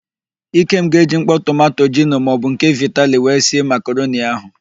Ikem ga-eji mkpọ tomanto gino maọbụ nke vitali wee sie makaroni ahụ.